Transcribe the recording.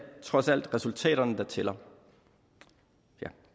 trods alt resultaterne der tæller